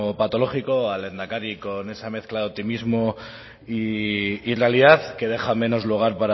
patológico o al lehendakari con esa mezcla de optimismo y realidad que deja menos lugar